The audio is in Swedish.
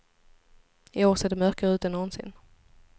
I år ser det mörkare ut än någonsin.